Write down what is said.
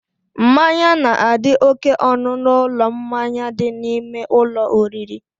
Mmanya na-adị oké ọnụ n'ụlọ mmanya dị n'ime ụlọ oriri